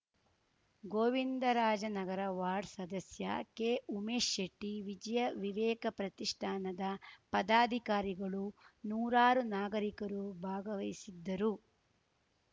Govindarajanagar ward ಸದಸ್ಯ K Umesh Shetty Vijaya Viveka ಪ್ರತಿಷ್ಠಾನದ ಪದಾಧಿಕಾರಿಗಳು ನೂರಾರು ನಾಗರಿಕರು ಭಾಗವಹಿಸಿದ್ದರು